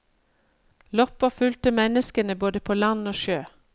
Loppa fulgte menneskene både på land og sjø.